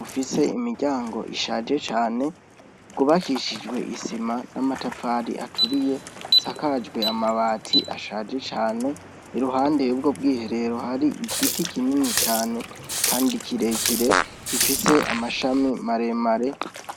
Ufise imiryango ishaje cane, rw’ubakishijwe isima n’amatafari aturiye, isakajwe amabati ashaje cane iruhande yubwo bw’iherero hari igiti kinini cane kandi kirekire gifise amashami maremare.